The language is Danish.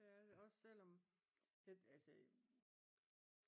Det er det også selvom altså